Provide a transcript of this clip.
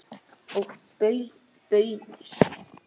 Og baunir.